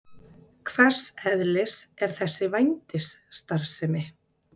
Hvers eðlis er þessi vændisstarfsemi?